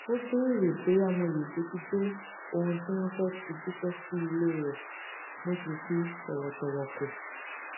ó béèrè bóyá mo lè bójútó ohun tí wọn fẹ fi jíṣẹ sí ilé rẹ mo sì fi tòwòtòwò kò